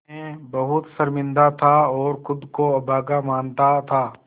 मैं बहुत शर्मिंदा था और ख़ुद को अभागा मानता था